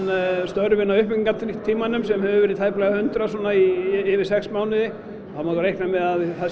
störfin á uppbyggingatímanum sem hafa verið tæplega hundrað yfir sex mánuði þá má reikna með að það